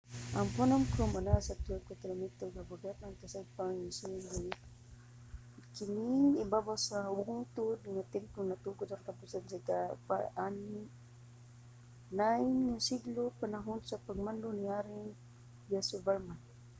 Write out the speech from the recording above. ang phnom krom anaa sa 12 ka kilometro habagatang-kasadpan sa siem reap. kining ibabaw sa bungtod nga templo natukod sa katapusan sa ika-9 nga siglo sa panahon sa pagmando ni haring yasovarman